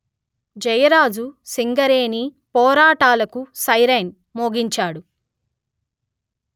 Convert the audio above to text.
జయరాజు సింగరేణిపోరాటాలకు సైరనై మోగిండు